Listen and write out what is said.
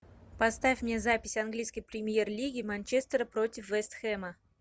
поставь мне запись английской премьер лиги манчестер против вест хэма